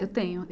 Eu tenho.